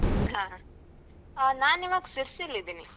ಹಾ ನಾನ್ ಇವಾಗ ಶಿರ್ಸಿಲಿದ್ದೀನಿ.